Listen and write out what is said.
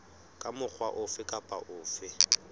ka mokgwa ofe kapa ofe